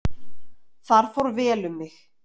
Þar fór vel um mig.